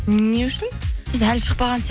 не үшін сіз әлі шықпаған